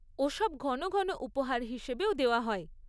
ওসব ঘন ঘন উপহার হিসেবেও দেওয়া হয়।